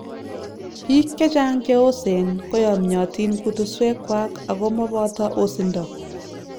Biik chechang cheoseen koyamyatiin kutusweek kwak akomoboto osindo